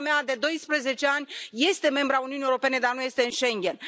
Țara mea de 12 ani este membră a Uniunii Europene, dar nu este în Schengen.